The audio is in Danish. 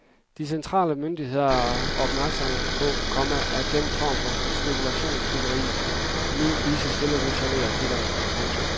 De centrale myndigheder er også opmærksomme på, komma at den form for spekulationsbyggeri nu lige så stille rutscher ned ad klitterne. punktum